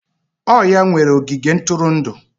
Ọ ya nwere ogige ntụrụndụ.